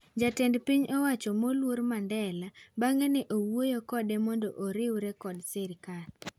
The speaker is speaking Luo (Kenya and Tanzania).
Jatend piny oacho moluor Mandela bang'e ne owuoyo kode mondo oriure kod sirkal.